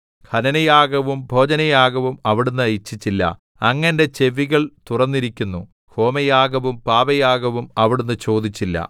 ഹനനയാഗവും ഭോജനയാഗവും അവിടുന്ന് ഇച്ഛിച്ചില്ല അങ്ങ് എന്റെ ചെവികൾ തുറന്നിരിക്കുന്നു ഹോമയാഗവും പാപയാഗവും അവിടുന്ന് ചോദിച്ചില്ല